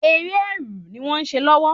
Eré ẹrù ni wón se lówó